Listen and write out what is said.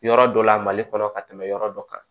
Yɔrɔ dɔ la mali kɔnɔ ka tɛmɛ yɔrɔ dɔ kan